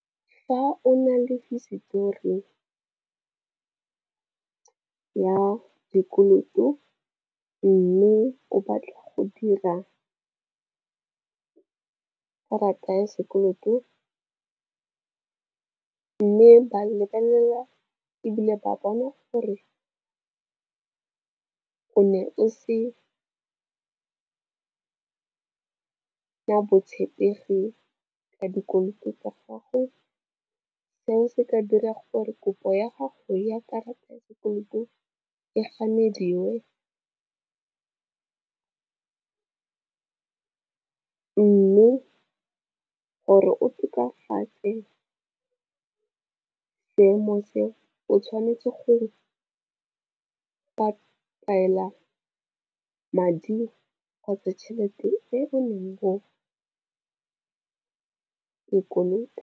Fa o na le hisetori ka dikoloto mme o batla go dira ka karata ya sekoloto, mme ba lebelela ebile ba bona gore o ne o se botshepegi ka dikoloto tsa gago, seo se ka dira gore kopo ya gago ya karata ya sekoloto e ganediwe. Mme gore o tokafatse seemo seo o tshwanetse go patela madi kgotsa tšhelete eo neng o e kolota.